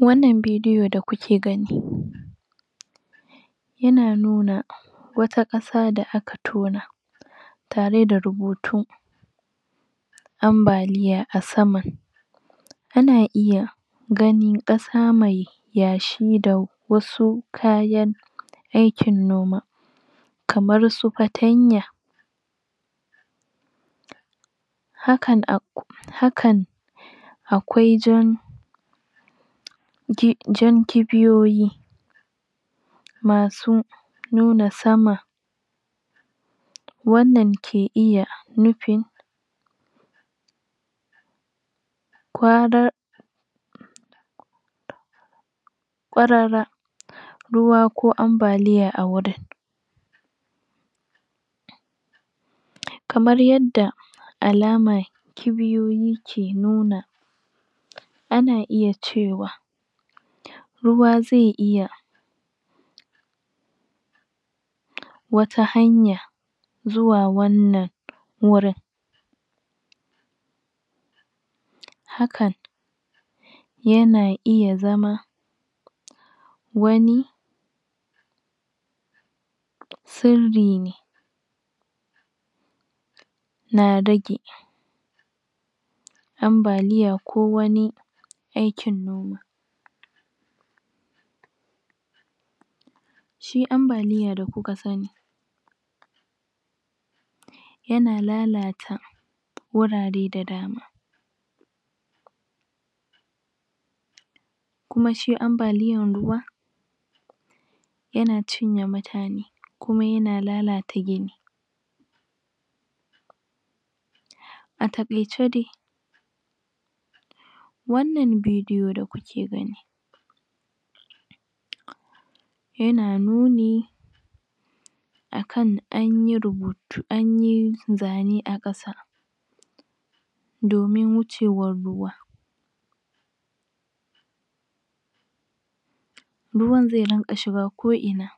wannan video da kuke gani yana nuna wata kasa da aka tona tare da rubutu ambaliya a sama ana iya ganin kasa mai yashi da wasu kayan aikin noma kamar su patanya hakan a hakan akwai jan jan kibiyoyi masu nuna sama wannan ke iya nufi kwara kwarara ruwa ko ambaliya a wurin kamar yadda alama kibiyoyi ke nuna ana iya cewa ruwa zai iya wata hanya zuwa wannan wurin hakan yana iya zama wani siri ne na dage ambaliya ko wani aikin noma shi ambaliyada kuka sani yana lalata wurare da dama kuma shi ambaliyan ruwa yana cinye mutanekuma yana lalata gini a takaice dai wannan bidiyo da kuke gani yana nuni akan anyi rubutu an yi zane a kasa domin wucewan ruwa ruwan zai dinga shiga ko ina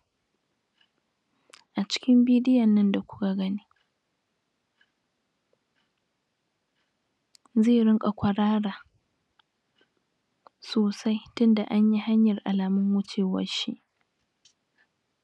a cikin bidiyon nan da kuka gani zai ringa kurara sosai tin da an yi hanyar alamun wucewar shi